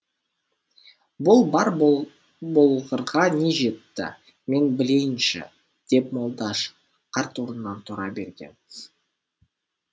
бұл бар болғырға не жетті мен білейінші деп молдаш қарт орнынан тұра берген